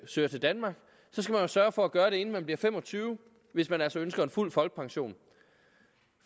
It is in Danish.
søger til danmark sørge for at gøre det inden man bliver fem og tyve hvis man altså ønsker en fuld folkepension